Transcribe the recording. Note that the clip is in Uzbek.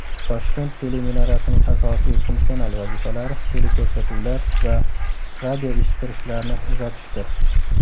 Toshkent teleminorasining asosiy funksional vazifalari teleko‘rsatuvlar va radioeshittirishlarni uzatishdir.